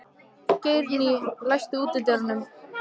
Geirný, læstu útidyrunum.